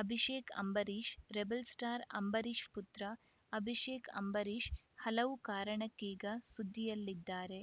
Abhishek Ambareesh rebel star Ambareesh ಪುತ್ರ ಅಭಿಷೇಕ್‌ ಅಂಬರೀಷ್‌ ಹಲವು ಕಾರಣಕ್ಕೀಗ ಸುದ್ದಿಯಲ್ಲಿದ್ದಾರೆ